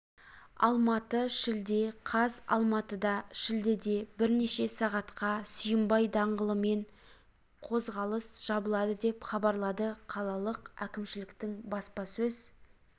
алматы шілде қаз алматыда шілдеде бірнеше сағатқа сүйінбай даңғылымен қозғалыс жабылады деп хабарлады қалалық әкімшіліктің баспасөз